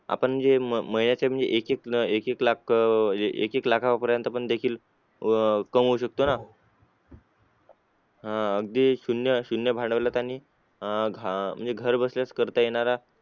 आपण जे म महिन्याचे म्हणजे एक एक लाख अं एक एक लाखा पर्यंत देखील अह कमावू शकतो ना? अं अगदी शून्य शून्य म्हणजे अं घ घरबसल्यास करता येणारा